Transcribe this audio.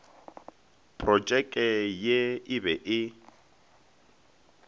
protšeke ye e be e